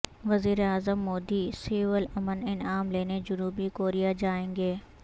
وزیراعظم مودی سیول امن انعام لینے جنوبی کوریا جائیں گے